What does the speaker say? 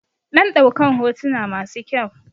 Dan ɗaukan hotuna masu kyau